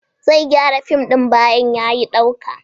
Zai gyara fim din bayan ya yi dauka.